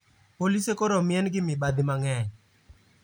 Polise koro omien gi mibadhi mang`eny